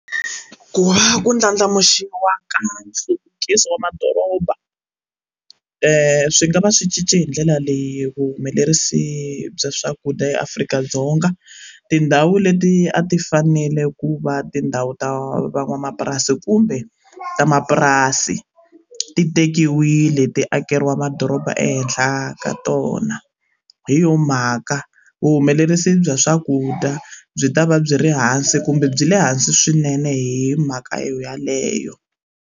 Ku va ku ndlandlamuxiwa ka nhluvukiso wa madoroba swi nga va swi cince hi ndlela leyi vuhumelerisi bya swakudya eAfrika-Dzonga tindhawu leti a ti fanele ku va tindhawu ta van'wamapurasi kumbe ta mapurasi ti tekiwile ti akeriwa madoroba ehenhla ka tona hi yona mhaka vuhumelerisi bya swakudya byi ta va byi ri hansi kumbe byi le hansi swinene hi mhaka yo yeleyo.